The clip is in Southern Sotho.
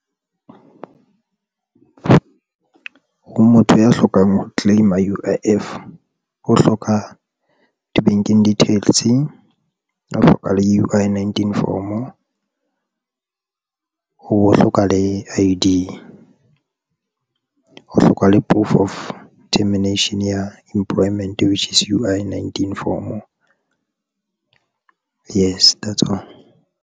Ho motho ya hlokang ho claima-a U_I_F o hloka di-banking details a hlokang le UI-19 form o ho hloka le I_D, o hloka le proof of termination ya employment which is UI-19 form yes that's all.